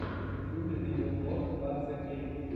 в ютьюбе видеоблог ван зе кей